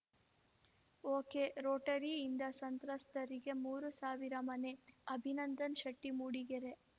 ಒಕೆರೋಟರಿಯಿಂದ ಸಂತ್ರಸ್ತರಿಗೆ ಮೂರು ಸಾವಿರ ಮನೆ ಅಭಿನಂದನ್‌ ಶೆಟ್ಟಿ ಮೂಡಿಗೆರೆ